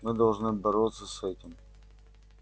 мы должны бороться с этим